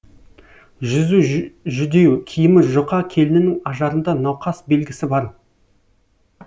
жүзі жүдеу киімі жұқа келіннің ажарында науқас белгісі бар